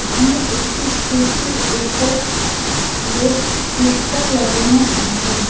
এখানে একটি স্ট্যাচু -র ওপর রেড কুর্তা লাগানো আছে।